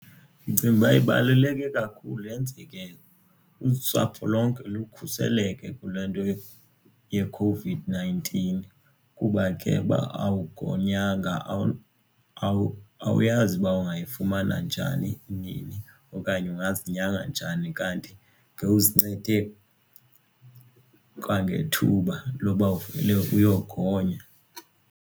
Ndicinga uba ibaluleke kakhulu yenzeke usapho lonke lukhuseleke kule nto yeCOVID-nineteen kuba ke uba awugonywanga awuyazi uba ungayifumana njani nini okanye ungazinyanga njani kanti ngowuzincede kwangethuba loba uvele uyogonya.